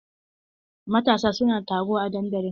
Matasa su na taro a dandalin.